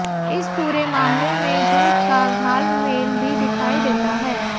इस पूरे मामले में झूठ का घालमेल भी दिखाई देता है